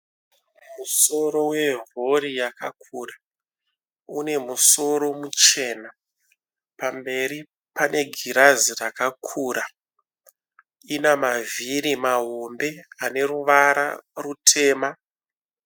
Musoro werori yakakura. Une musoro muchena. Pamberi pane girazi rakakura. Ina mavhiri mahombe ane ruvara rutema.